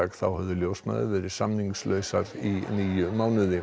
þá höfðu ljósmæður verið samningslausar í níu mánuði